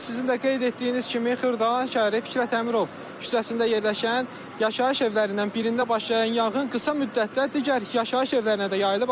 Bəli, elə sizin də qeyd etdiyiniz kimi Xırdalan şəhəri Fikrət Əmirov küçəsində yerləşən yaşayış evlərindən birində başlayan yanğın qısa müddətdə digər yaşayış evlərinə də yayılıb.